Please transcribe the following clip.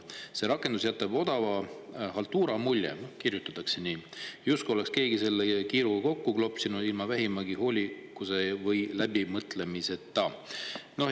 "See rakendus jätab odava haltuura mulje," noh, kirjutatakse nii: "justkui oleks keegi selle kiiruga kokku klopsinud, ilma vähimagi hoolikuse või läbimõtlemiseta.